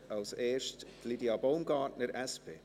Zuerst Lydia Baumgartner, SP.